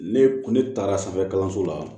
Ne kun ne taara sanfɛ kalanso la